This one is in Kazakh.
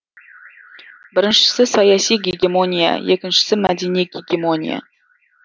біріншісі саяси гегемония екіншісі мәдени гегемония